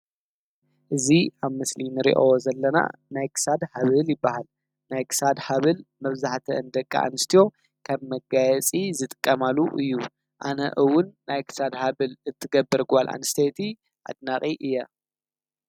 እዙ ኣብ ምስሊን ሬእኦ ዘለና ናይክሳድ ሃብል ይበሃል .ናይክሳድ ሃብል መፍዛህተ እንደቂ ኣንስትዮ ከብ መጋየጺ ዝጥቀማሉ እዩ ኣነእውን ናይክሳድ ሃብል እትገብር ጐል ኣንስተየቲ ኣድናቒ እየ.